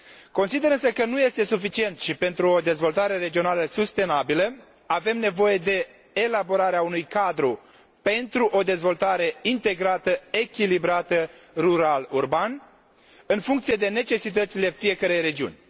Consider însă că nu este suficient și, pentru o dezvoltare regională sustenabilă, avem nevoie de elaborarea unui cadru pentru o dezvoltare integrată, echilibrată rural urban, în funcție de necesitățile fiecărei regiuni.